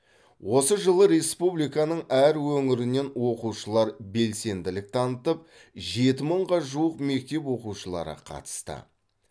осы жылы республиканың әр өңірінен оқушылар белсенділік танытып жеті мыңға жуық мектеп оқушылары қатысты